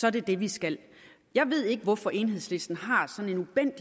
er det det vi skal jeg ved ikke hvorfor enhedslisten har sådan